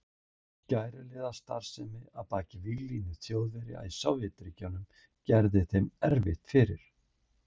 Skæruliðastarfsemi að baki víglínu Þjóðverja í Sovétríkjunum gerði þeim erfitt fyrir.